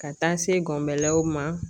Ka taa se gɔnbelɛw ma